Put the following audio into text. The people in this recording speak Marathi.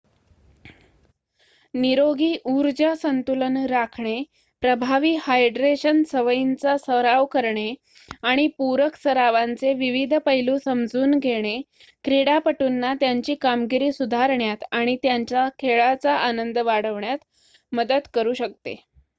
निरोगी ऊर्जा संतुलन राखणे प्रभावी हायड्रेशन सवयींचा सराव करणे आणि पूरक सरावांचे विविध पैलू समजून घेणे क्रीडापटूंना त्यांची कामगिरी सुधारण्यात आणि त्यांचा खेळाचा आनंद वाढवण्यात मदत करू शकते